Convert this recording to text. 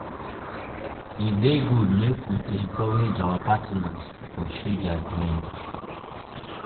e dey good make we dey encourage our partners um to pursue their dreams.